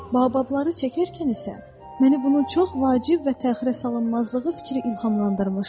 Bababları çəkərkən isə məni bunun çox vacib və təxirəsalınmazlığı fikri ilhamlandırmışdır.